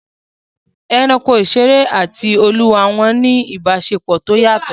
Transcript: Ẹranko ìṣeré àti àwọn olúwa wọn ní ìbáṣepọ̀ tó yàtọ̀